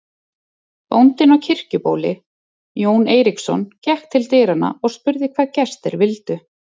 Bóndinn á Kirkjubóli, Jón Eiríksson, gekk til dyranna og spurði hvað gestir vildu.